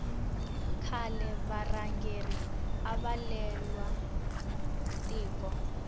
khale varhangeri ava lwela tiko